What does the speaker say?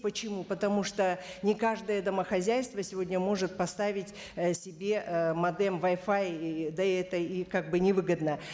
почему потому что не каждое домохозяйство сегодня может поставить э себе ыыы модем вай фая и да и это и как бы не выгодно